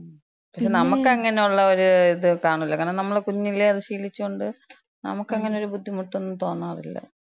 മ്, പക്ഷേ, നമ്മക്ക് അങ്ങന്ള്ളൊര്ത് കാണൂല. കാരണം നമ്മള് കുഞ്ഞിലേ അത് ശീലിച്ചോണ്ട്, നമ്ക്ക് അങ്ങനൊരു ബുദ്ധിമുട്ടൊന്നും തോന്നാറില്ല.